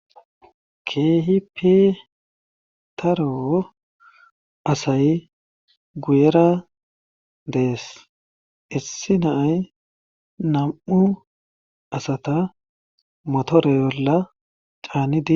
keehi pitaro asay guyera dees issi naay nam7u asata motoreyolla caanidi